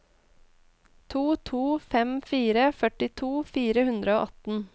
to to fem fire førtito fire hundre og atten